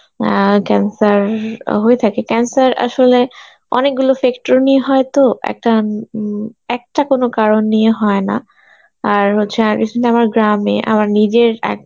অ্যাঁ cancer হয়ে থাকে, cancer আসলে অনেকগুলো নিয়ে হয় তো একটা উম উম একটা কোন কারণ নিয়ে হয় না আর হচ্ছে আর গ্রামে আমার নিজেরএক